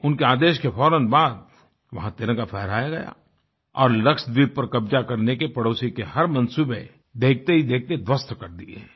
उनके आदेश के फ़ौरन बाद वहाँ तिरंगा फहराया गया और लक्षद्वीप पर कब्ज़ा करने के पड़ोसी के हर मंसूबे देखते ही देखते ध्वस्त कर दिए